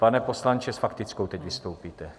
Pane poslanče, s faktickou teď vystoupíte?